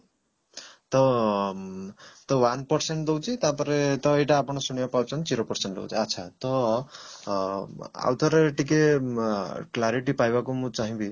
ତ ମ ତ one percent ଦଉଛି ତାପରେ ତ ଏଇଟା ଆପଣ ଶୁଣିବାକୁ ପାଉଛନ୍ତି zero percent ରହୁଛି ଆଚ୍ଛା ତ ଅ ଆଉଥରେ ଟିକେ ମ clarity ପାଇବାକୁ ମୁଁ ଚାହିଁବି